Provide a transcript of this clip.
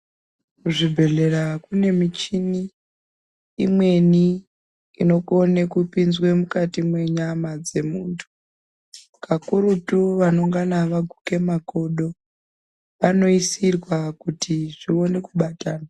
Kuzvibhehlera kune michini imweni inokone kupinzwe mukati menyama dzemuntu. Kakurutu kune vakaguke makodo vanoisirwa kuti zvinyanyekubata.